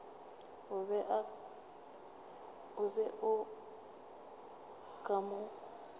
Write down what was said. o be o ka mo